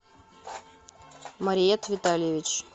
мариет витальевич